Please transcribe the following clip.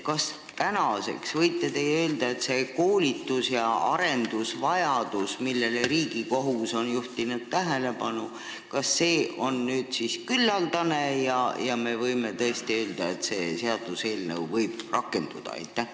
Kas te võite öelda, et see koolitus ja arendus, mille vajadusele Riigikohus on tähelepanu juhtinud, on küllaldane ja me võime öelda, et selle eelnõu saab seadusena rakendada?